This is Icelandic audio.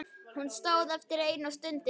Hún stóð eftir ein og stundi.